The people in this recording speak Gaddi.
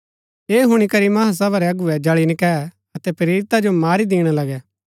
ऐह हुणी करी महासभा रै अगुवै जळी नकैऐ अतै प्रेरिता जो मारी दिणा लगै